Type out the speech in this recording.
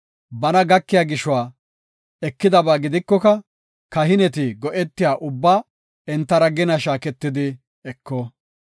Bana gakiya gishuwa ekidaba gidikoka, kahineti go7etiya ubbaa entara gina shaaketidi eko.